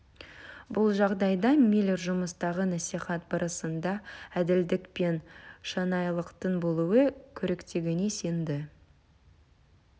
бұл жағдайда миллер жұмыстағы насихат барысында әділдік пен шынайылықтың болуы керектігіне сенді